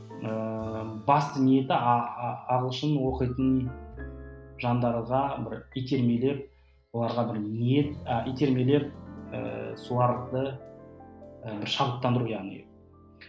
ыыы басты ниеті ағылшын оқитын жандарға бір итермелеп оларға бір ниет а итермелеп ыыы соларды ы бір шабыттандыру яғни